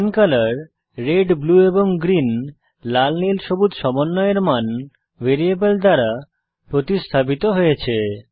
pen colour red blue এবং green লাল নীল সবুজ সমন্বয়ের মান ভ্যারিয়েবল দ্বারা প্রতিস্থাপিত হয়েছে